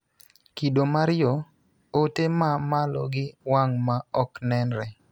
Kido mar yo: Ote ma malo gi wang' ma ok nenre